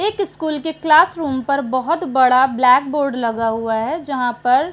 एक स्कूल के क्लासरूम पर बहुत बड़ा ब्लैकबोर्ड लगा हुआ है जहाँ पर --